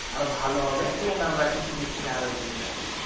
আরো ভালো হবে এবং আমরা কৃষি দিক থেকে আরো এগিয়ে যাবো,